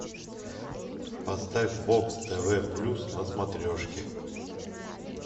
поставь бокс тв плюс на смотрешке